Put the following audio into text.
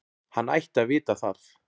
Hann ætti að vita það.